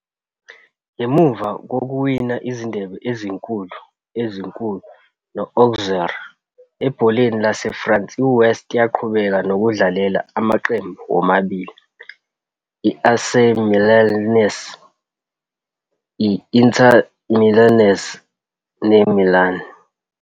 Ngemuva kokuwina izindebe ezinkulu ezinkulu no-Auxerre ebholeni laseFrance, iWest yaqhubeka nokudlalela amaqembu womabili aseMilanese, i-Internazionale neMilan.